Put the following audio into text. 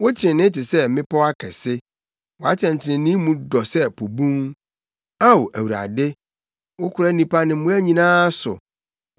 Wo trenee te sɛ mmepɔw akɛse. Wʼatɛntrenee mu dɔ sɛ po bun. Ao Awurade, wokora nnipa ne mmoa nyinaa so.